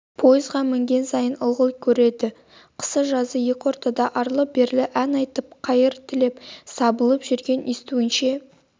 поезға мінген сайын ылғи көреді қысы-жазы екі ортада арлы-берлі ән айтып қайыр тілеп сабылып жүрген естуінше